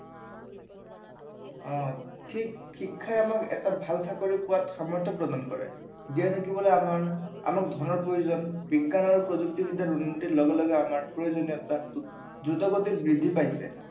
অ ঠিক শিক্ষাই আমাক এটা ভাল চাকৰি পোৱাত সামৰ্থ্য় প্ৰদান কৰে। জীয়াই থাকিবলৈ আমাক ধনৰ প্ৰয়োজন, বিজ্ঞান আৰু প্ৰযুক্তিবিদ্য়াৰ উন্নতিৰ লগে লগে আমাৰ প্ৰয়োজনীয়তা দ্ৰুত গতিত বৃদ্ধি পাইছে